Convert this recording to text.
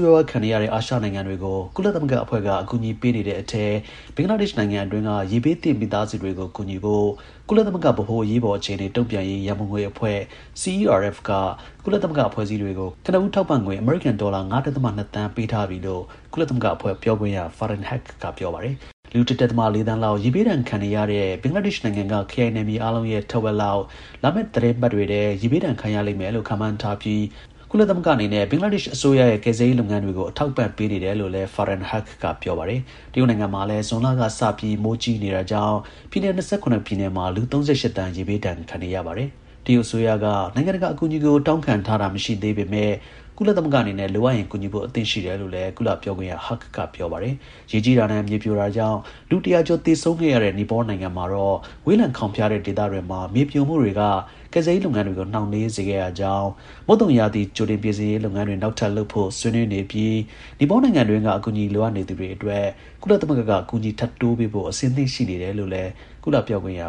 ရွား ခံနေရတဲ့ အာရှနိုင်ငံတွေကို ကုလသမဂ္ဂအဖွဲ့က အကူအညီပေးနေတဲ့အထဲ ဘင်္ဂလားဒေ့ရှ်နိုင်ငံအတွင်း က ရေဘေးသင့် မိသားစုတွေကို ကူညီဖို့ကုလသမဂ္ဂ ဗဟို အရေးပေါ် အခြေအနေ တုံ့ပြန်ရေး ရန်ပုံငွေ အဖွဲ က ကုလ သမဂ္ဂ အဖွဲ့အစည်းတွေကို ကနဦး ထောက်ပံ့ငွေ အမေရိကန် ဒေါ်လာ ၅ ဒဿမ ၂ သန်း ပေးအပ်ထားပြီလို့ ကုလသမဂ္ဂအဖွဲ့ပြောခွင့်ရ Farhan Haq က ပြောပါတယ်။ လူ ၁ ဒဿမ ၄ သန်းလောက် ရေဘေးဒဏ်ခံနေရတဲ့ ဘင်္ဂလားဒေ့ရှ်နိုင်ငံက ခရိုင်နယ်မြေအားလုံးရဲ့ ထက်ဝက် လောက် လာမယ့် သီတင်းပတ်တွေထဲ ရေဘေးဒဏ် ခံရလိမ့်မယ်လို့ ခန့်မှန်းထားပြီး ကုလသမဂ္ဂအနေနဲ့ ဘင်္ဂလားဒေ့ရှ် အစိုးရရဲ့ ကယ်ဆယ်ရေး လုပ်ငန်းတွေကို အထောက်အပံ့ပေးနေတယ်လို့လည်း Farhan Haq က ပြောပါတယ်။ တရုတ်နိုင်ငံမှာလည်း ဇွန်လက စပြီး မိုးကြီးတာကြောင့် ပြည်နယ် ၂၇ ပြည်နယ်မှာ လူ ၃၈ သန်း ရေဘေးဒဏ် ခံနေရပါတယ်။ တရုတ်အစိုးရက နိုင်ငံတကာကို အကူအညီတောင်းခံထားတာ မရှိသေးပေမဲ့ ကုလသမဂ္ဂအနေနဲ့ လိုအပ်ရင် ကူညီဖို့ အသင့်ရှိတယ် လို့လည်း ကုလပြောခွင့်ရ Haq က ပြောပါတယ်။ ရေကြီးတာနဲ့ မြေပြိုတာကြောင့် လူ ၁၀၀ ကျော် သေဆုံးခဲ့ရတဲ့ နီပေါနိုင်ငံမှာတော့ ဝေးလံခေါင်ဖျားတဲ့ဒေသတွေမှာ မြေပြိုမှုတွေကကယ်ဆယ်ရေးလုပ်ငန်းတွေကို နှောင်နှေးစေခဲ့ရကြောင်း၊ မုတ်သုံရာသီ ကြိုတင်ပြင်ဆင်ရေး လုပ်ငန်းတွေ နောက်ထပ် လုပ်ဖို့ ဆွေးနွေးနေပြီး နီပေါနိုင်ငံတွင်းက အကူအညီ လိုအပ်နေသူတွေအတွက် ကုသသမဂ္ဂက အကူအညီ ထပ်တိုးပေးဖို့ အသင့် ရှိနေ တယ်လို့လည်း ကုလ ပြောခွင့်ရ